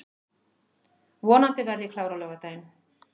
Vonandi verð ég klár á laugardaginn